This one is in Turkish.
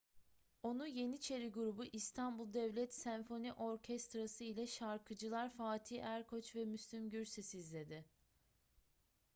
onu yeniçeri grubu i̇stanbul devlet senfoni orkestrası ile şarkıcılar fatih erkoç ve müslüm gürses izledi